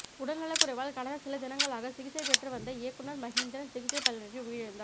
உடல்நலக்குறைவால் கடந்த சில தினங்களாக சிகிச்சை பெற்று வந்த இயக்குநர் மகேந்திரன் சிகிச்சை பலனின்றி உயிரிழந்தார்